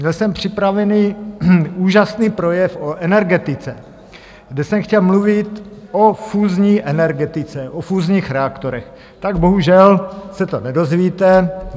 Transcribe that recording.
Měl jsem připravený úžasný projev o energetice, kde jsem chtěl mluvit o fúzní energetice, o fúzních reaktorech, tak bohužel se to nedozvíte.